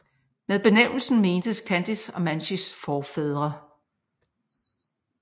Med benævnelsen mentes khantys og mansijs forfædre